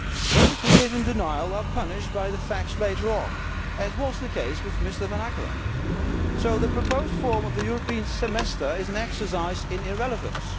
Those who live in denial are punished by the facts later on, as was the case with Mr Vanackere, so the proposed form of the European Semester is an exercise in irrelevance.